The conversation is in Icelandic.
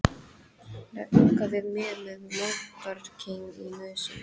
Ranka við mér með moldarkeim í nösum.